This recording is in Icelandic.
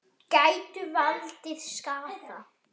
Gætu valdið skaða.